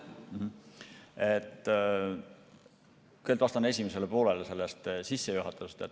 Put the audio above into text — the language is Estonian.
Kõigepealt vastan esimesele poolele sissejuhatusest.